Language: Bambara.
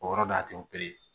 O yɔrɔ don a tɛ